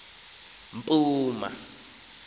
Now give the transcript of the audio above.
mpuma